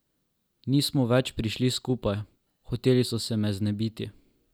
Nismo več prišli skupaj, hoteli so se me znebiti.